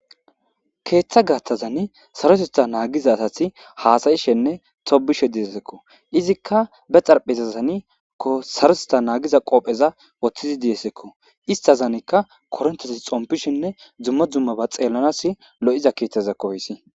keeththa gaathazani sarotettha naagiza asati haasayishenne tobishe diesekko izikka be xarphezazani sarotetta naagiza qoopheza woththidi diyesekko istazanikka koronteti xompishenne dzumma dzumma ba xeellanas lo7iza keeththa zekkooyssi